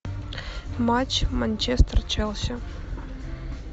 матч манчестер челси